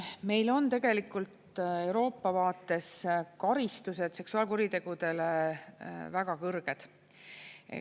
Meil on tegelikult Euroopa vaates karistused seksuaalkuritegudele väga kõrged.